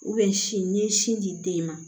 sin n'i ye sin di den ma